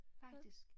Faktisk